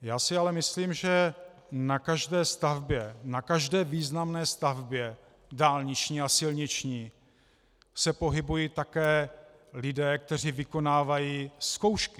Já si ale myslím, že na každé stavbě, na každé významné stavbě dálniční a silniční se pohybují také lidé, kteří vykonávají zkoušky.